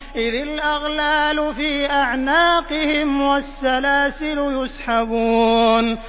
إِذِ الْأَغْلَالُ فِي أَعْنَاقِهِمْ وَالسَّلَاسِلُ يُسْحَبُونَ